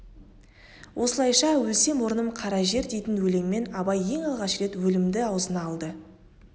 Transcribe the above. осылайша өлсем орным қара жер дейтін өлеңмен абай ең алғаш рет өлімді аузына алды